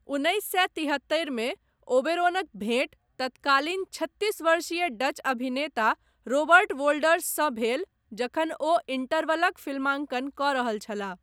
उन्नैस सए तिहत्तरि मे, ओबेरॉनक भेँट तत्कालीन छत्तीस वर्षीय डच अभिनेता रॉबर्ट वोल्डर्ससँ भेल, जखन ओ इण्टरवलक फिल्मांकन कऽ रहल छलाह।